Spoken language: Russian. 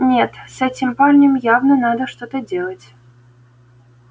нет с этим парнем явно надо что-то делать